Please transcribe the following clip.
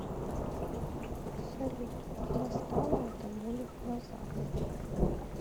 салют достала эта боль в глазах